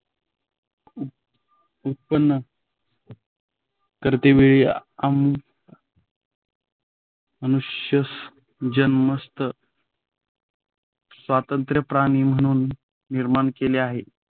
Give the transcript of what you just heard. उत्पन्न करतेवेळी अं मनुष्यास जन्मतःच स्वतंत्र प्राणी म्हणून निर्माण केले आहे.